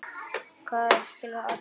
Hvað er að skilja atburð?